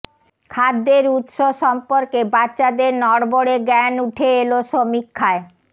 খাদ্যের উত্স সম্পর্কে বাচ্চাদের নড়বড়ে জ্ঞান উঠে এল সমীক্ষায়